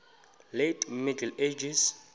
late middle ages